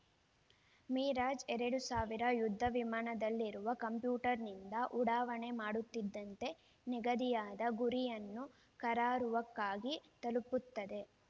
Mirage ಎರಡು ಸಾವಿರ ಯುದ್ಧ ವಿಮಾನದಲ್ಲಿರುವ ಕಂಪ್ಯೂಟರ್‌ನಿಂದ ಉಡಾವಣೆ ಮಾಡುತ್ತಿದ್ದಂತೆ ನಿಗದಿಯಾದ ಗುರಿಯನ್ನು ಕರಾರುವಾಕ್ಕಾಗಿ ತಲುಪುತ್ತದೆ